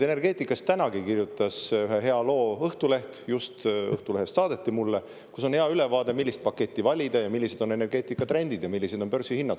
Energeetikast kirjutas ka täna ühe loo Õhtuleht – just Õhtulehest saadeti mulle –, kus on hea ülevaade, millist paketti valida ja millised on energeetikatrendid ja millised on börsihinnad.